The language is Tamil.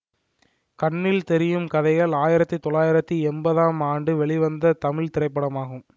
கண்ணில் தெரியும் கதைகள் ஆயிரத்தி தொள்ளாயிரத்தி எம்பதாம் ஆண்டு வெளிவந்த தமிழ் திரைப்படமாகும்